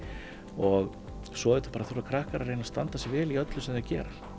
og svo auðvitað bara þurfa krakkar að reyna að standa sig vel í öllu sem þau gera